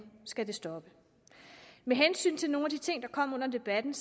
skal det stoppe med hensyn til nogle af de ting der kom under debatten